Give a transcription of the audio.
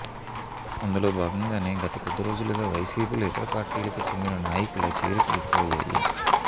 అందులో భాగంగానే గత కొద్ది రోజులుగా వైసీపీలో ఇతర పార్టీలకు చెందిన నాయకుల చేరికలు ఎక్కువయ్యాయి